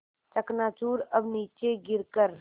चकनाचूर अब नीचे गिर कर